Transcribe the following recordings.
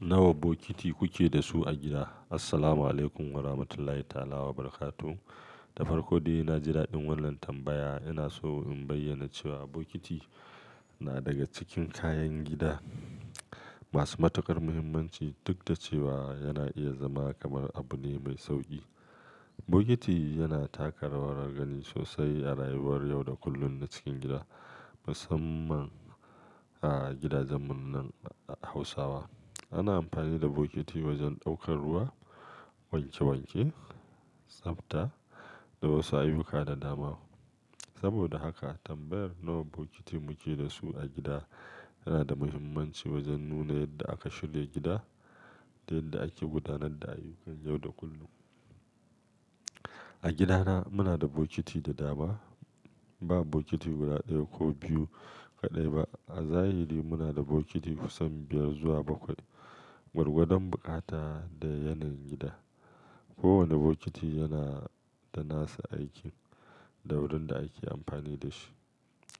Nawa bokiti kuke da su a gida? Assalamu'alaikum warahmatullahi ta'ala wabarakatuh. Da farko dai, na ji daɗin wannan tambaya. Ina so in bayyana cewa bokiti na daga cikin kayan gida masu matuƙar muhimmanci, duk da cewa yana iya zama kamar abu ne mai sauƙi. Bokiti yana taka rawar gani sosai a rayuwar yau da kullun na cikin gida, musamman a gidajen mu nan Hausawa. Ana amfani da bokiti wajen ɗaukar ruwa, wanke wanke, tsafta da wasu ayyuka da dama. Saboda haka, tambayar nawa bokiti muke da su a gida yana da muhimmanci wajen nuna yadda aka shirya gida da yadda ake gudanar da ayyukan yau da kullun. A gidana, muna da bokiti da dama. Ba bokiti guda ɗaya ko biyu kaɗai ba. A zahiri muna da bokiti kusan biyar zuwa bakwai, gwargwadon buƙata da yanayin gida. Kowane bokiti yana da nasa aikin da wurin da ake amfani da shi.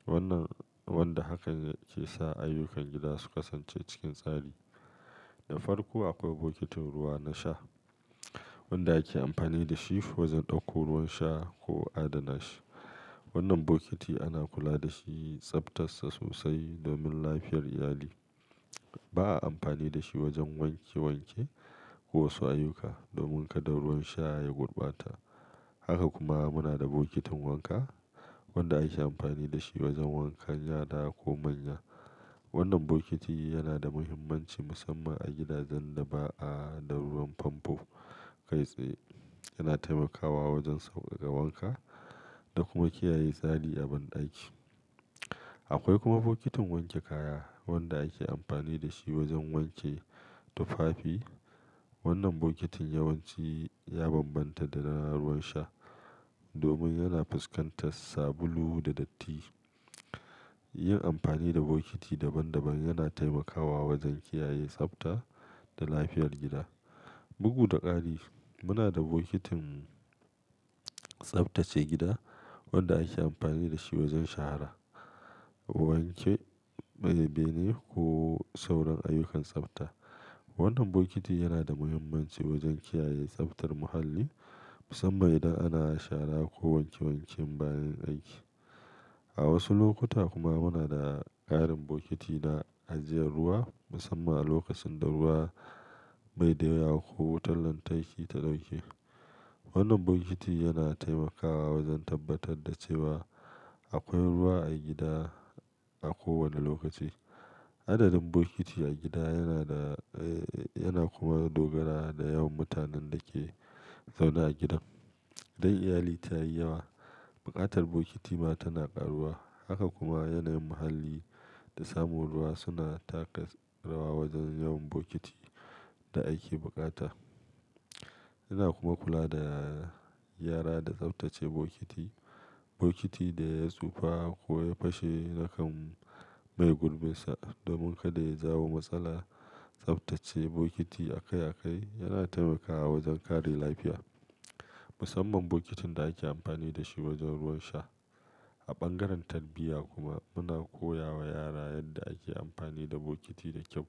Wannan wanda haka ke sa ayyukan gida su kasance cikin tsari. Da farko akwai bokitin ruwa na sha wanda ake amfani da shi wajen ɗauko ruwan sha ko adana shi. Wannan bokiti ana kula da shi, tsaftar sa sosai domin lafiyar iyali. Ba a amfani da shi wajen wanke wanke ko wasu ayyuka domin kada ruwan sha ya gurbata. Haka kuma muna da bokitin wanka wanda ake amfani da shi wajen wankan yara ko manya. Wannan bokiti yana da muhimmanci musamman a gidajen da ba a da ruwan famfo kai tsaye. Yana taimakawa wajen sauƙaƙa wanka da kuma kiyaye tsari a banɗaki. Akwai kuma bokitin wanke kaya wanda ake amfani da shi wajen wanke tufafi. Wannan bokitin yawanci ya bambanta da na ruwan sha domin yana fuskantar sabulu da datti. Yin amfani da bokiti daban daban yana taimakawa wajen kiyaye tsafta da lafiyar gida. Bugu da ƙari, muna da bokitin tsaftace gida wanda ake amfani da shi wajen shara, wanke bene ko sauran ayyukan tsafta. Wannan bokiti yana da muhimmanci wajen kiyaye tsaftar muhalli, musamman idan ana shara ko wanke wanke bayan aiki. A wasu lokuta kuma muna da ƙarin bokiti na ajiyar ruwa, musamman a lokacin da ruwa bai da yawa ko wutar lantarki ta dauke. Wannan bokiti yana taimakawa wajen tabbatar da cewa akwai ruwa a gida a kowane lokaci. Adadin bokiti a gida yana da, eh yana kuma dogara da yawan mutanen da ke zaune a gidan. Idan iyali ta yi yawa, buƙatar bokiti ma tana ƙaruwa. Haka kuma yanayin muhalli da samun ruwa suna taka rawa wajen yawan bokiti da ake buƙata. Ina kuma kula da yara da tsaftace bokiti. Bokiti da ya tsufa ko ya fashe na kan maye gurbinsa domin kada ya jawo matsala. Tsaftace bokiti a kai a kai yana taimakawa wajen kare lafiya, musamman bokitin da ake amfani da shi wajen ruwan sha. A bangaren tarbiyya kuma muna koya wa yara yadda ake amfani da bokiti da kyau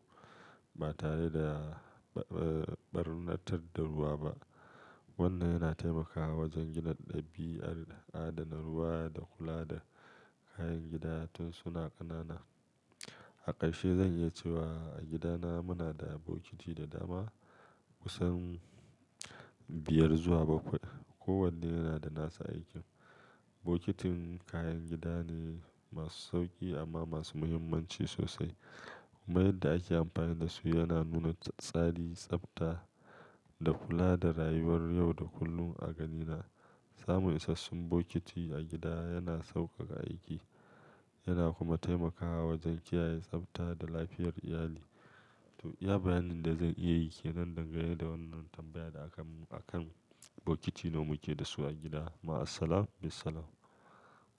ba tare da, eh, ɓarnatar da ruwa ba. Wannan yana taimakawa wajen gina ɗabi'ar adana ruwa da kula da kayan gida suna ƙanana. A ƙarshe zan iya cewa a gidana muna da bokiti da dama, kusan biyar zuwa bakwai. Kowanne yana da nasa aikin. Bokitin kayan gida ne masu sauƙi amma masu muhimmanci sosai. Mayar da ake amfani da su yana nuna tsari, tsafta da kula da rayuwar yau da kullun. A ganina samun isassun bokiti a gida yana sauƙaƙa aiki yana kuma taimakawa wajen kiyaye tsafta da lafiyar iyali. To, iya bayanin da zan iya yi ke nan dangane da wannan tambaya da akan, akan bokiti nawa muke da su a gida. Ma'assalam, bissalam.